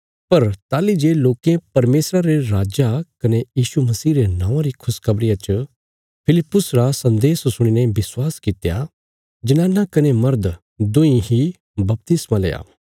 पर ताहली जे लोकें परमेशरा रे राज्जा कने यीशु मसीह रे नौआं री खुशखबरिया च फिलिप्पुस रा सन्देश सुणीने विश्वास कित्या जनाना कने मर्द दुईं ही बपतिस्मा लेआ